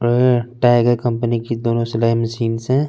अननन tiger company की दोनों सिलाई मशीनस है।